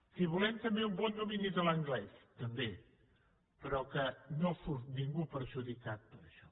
que hi volem també un bon domini de l’anglès també però que no surt ningú perjudicat per això